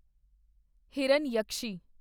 Hiranyakeshi